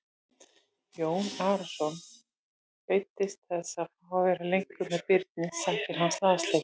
Jón Arason beiddist þess að fá að vera lengur með Birni sakir hans lasleika.